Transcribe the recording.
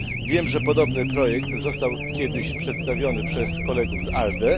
Wiem, że podobny projekt został kiedyś przedstawiony przez kolegów z ALDE.